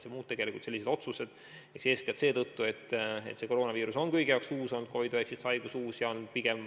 See on nii eeskätt seetõttu, et koroonaviirus on kõigi jaoks uus, COVID-19 haigus on uus.